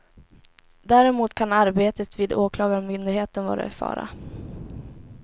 Däremot kan arbetet vid åklagarmyndigheten vara i fara.